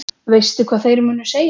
Veistu hvað þeir munu segja?